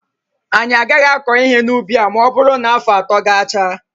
Anyị agaghị akọ ihe n'ubi a ma ọ bụrụ na afọ atọ gachaa.